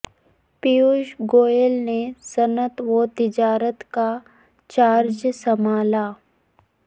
پیوش گوئل نے صنعت و تجارت کا چارج سنبھالا